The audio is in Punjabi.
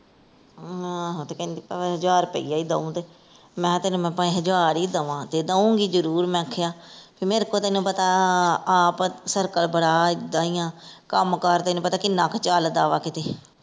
ਆਹੋ ਤੇ ਕਹਿੰਦੀ ਭਾਵੇਂ ਹਜਾਰ ਰੁਪਈਆ ਹੀ ਦਊਂ ਤੇ ਮੈਂ ਤੈਨੂੰ ਭਾਵੇਂ ਹਜਾਰ ਹੀ ਦਵਾਂ ਤੇ ਦਊਂਗੀ ਜਰੂਰ ਮੈਂ ਆਖਿਆ ਮੇਰੇ ਕੋਲ ਤੈਨੂੰ ਪਤਾ ਆਪ ਸਰਕਲ ਬੜਾ ਇੱਦਾਂ ਹੀ ਆ ਕੰਮ ਕਾਰ ਤੈਨੂੰ ਪਤਾ ਕਿੰਨਾ ਕ ਚੱਲਦਾ ਵਾ ਕਿਤੇ।